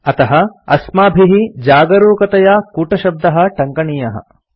अतः अस्माभिः जागरूकतया कूटशब्दः टङ्कनीयः